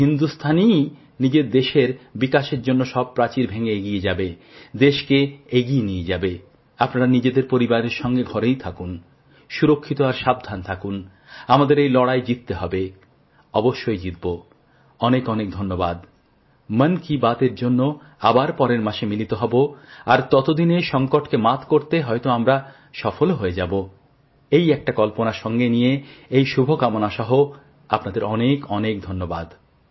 এই জন্যই বারবার তিনচার ঘন্টা অন্তরঅন্তর